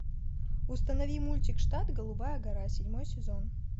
установи мультик штат голубая гора седьмой сезон